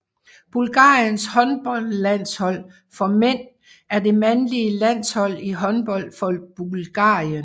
Bulgariens håndboldlandshold for mænd er det mandlige landshold i håndbold for Bulgarien